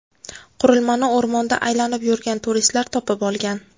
Qurilmani o‘rmonda aylanib yurgan turistlar topib olgan.